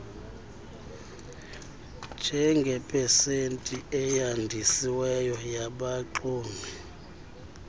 njengepesenti eyandisiweyo yabaxumi